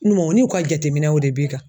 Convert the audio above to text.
u n'u ka jateminɛw de b'i kan